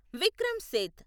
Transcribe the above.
Vikram Seth